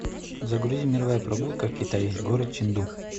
загрузи мировая прогулка китай город ченду